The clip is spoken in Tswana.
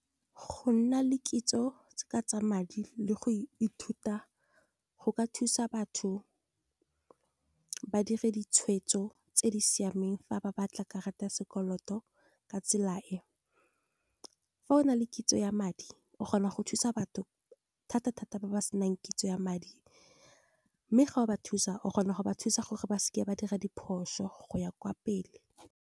Go nna le kitso ka tsa madi le go ithuta go ka thusa batho ba dire ditshwetso tse di siameng fa ba batla karata ya sekoloto ka tsela e. Fa o na le kitso ya madi o kgona go thusa batho thata-thata, ba ba senang kitso ya madi. Mme ga o ba thusa o kgona go ba thusa gore ba seke ba dira diphoso, go ya kwa pele.